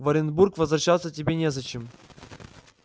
в оренбург возвращаться тебе незачем